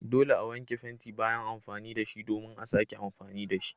Dole a wanke fenti bayan amfani da shi domin a sake amfani da shi.